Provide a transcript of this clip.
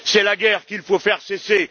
C'est la guerre qu'il faut faire cesser.